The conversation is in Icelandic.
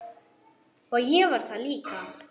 Og ég var það líka.